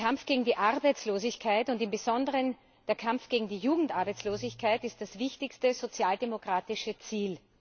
Der Kampf gegen die Arbeitslosigkeit und im Besonderen der Kampf gegen die Jugendarbeitslosigkeit ist das wichtigste sozialdemokratische Ziel.